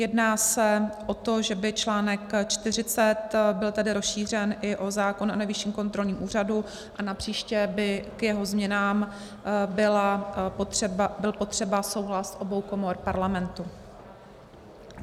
Jedná se o to, že by článek 40 byl tedy rozšířen i o zákon o Nejvyšším kontrolním úřadu a napříště by k jeho změnám byl potřeba souhlas obou komor Parlamentu.